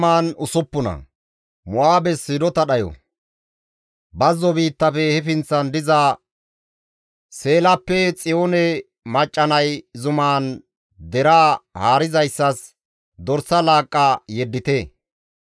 Bazzo biittafe he pinththan diza Seelappe Xiyoone macca nay zuman deraa haarizayssas dorsa laaqqa yeddite.